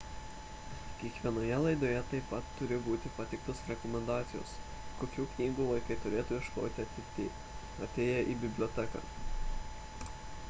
kiekvienoje laidoje taip pat turi būti pateiktos rekomendacijos kokių knygų vaikai turėtų ieškoti atėję į biblioteką